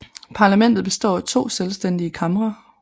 Parlamentet består af to selvstændige kamre